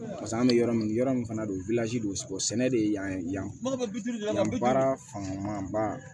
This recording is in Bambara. Paseke an bɛ yɔrɔ min yɔrɔ min fana don don kosɛbɛ de yan ye yani nka baara fanba